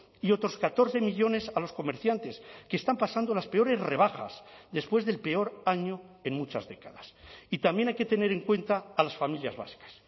y otros catorce millónes a los comerciantes que están pasando las peores rebajas después del peor año en muchas décadas y también hay que tener en cuenta a las familias vascas